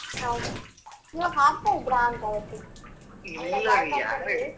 ಹಾಗೆ ನೀವು ಹಾಡ್ತಾ ಇದ್ರಾ ಅಂತ ಯಾರೋ ಹೇಳ್ತಾ ಇದ್ರು.